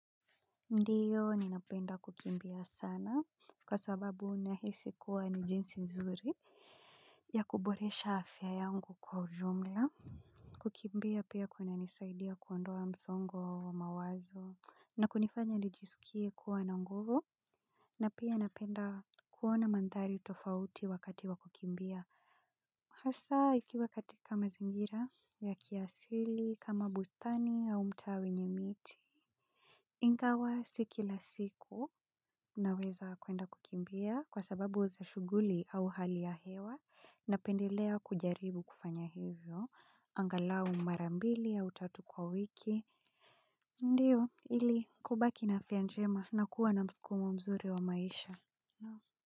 Ndiyo ninapenda kukimbia sana kwa sababu nahisi kuwa ni jinsi nzuri ya kuboresha afya yangu kwa ujumla. Kukimbia pia kunanisaidia kuondoa msongo wa mawazo na kunifanya nijisikie kuwa na nguvu. Na pia napenda kuona mandhari tofauti wakati wa kukimbia. Hasa ikiwa katika mazingira ya kiasili kama bustani au mtaa wenye miti. Ingawa si kila siku naweza kwenda kukimbia kwa sababu za shuguli au hali ya hewa napendelea kujaribu kufanya hivyo, angalau mara mbili au tatu kwa wiki, ndiyo ili kubaki na afya njema na kuwa na mskumo mzuri wa maisha.